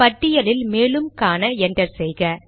பட்டியலில் மேலும் காண என்டர் செய்க